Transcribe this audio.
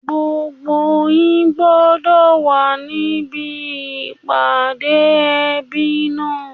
Gbogbo yín gbọdọ̀ wà níbí ìpàdé ẹbí náà!